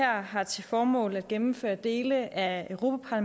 her har til formål at gennemføre dele af europa